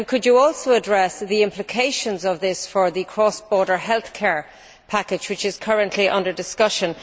Could you also address the implications of this for the cross border healthcare package which is currently under discussion?